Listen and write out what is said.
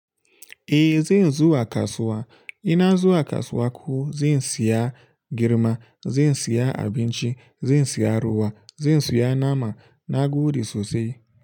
Eh zai zuwa kasuwa, ina zuwa kasuwa ko zan siya girma, zan siya abinci, zan siya ruwa, zan siya nama nagode sosai.